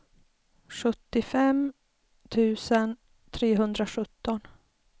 sjuttiofem tusen trehundrasjutton